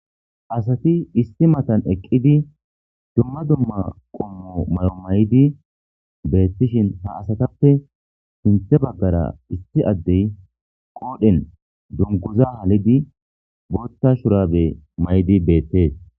asati issi matan eqqidi dumma dumma qommo mayo may7di beettishin ha asatappe sinthe baggara issi addey qoodhen dunkoza halidi bootta shurabe maydi beettes